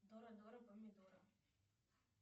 дора дора помидора